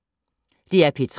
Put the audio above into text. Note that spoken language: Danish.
DR P3